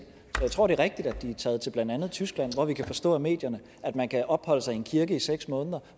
så jeg tror det er rigtigt at de er taget til blandt andet tyskland hvor vi kan forstå i medierne at man kan opholde sig i en kirke i seks måneder